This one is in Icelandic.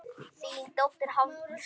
Þín dóttir, Hafdís.